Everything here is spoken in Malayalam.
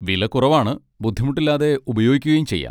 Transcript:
വില കുറവാണ് ബുദ്ധിമുട്ടില്ലാതെ ഉപയോഗിക്കുകയും ചെയ്യാം.